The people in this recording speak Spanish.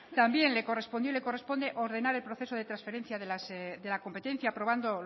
también le correspondió y le corresponde ordenar el proceso de transferencia de la competencia aprobando